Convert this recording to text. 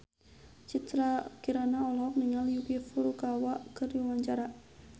Citra Kirana olohok ningali Yuki Furukawa keur diwawancara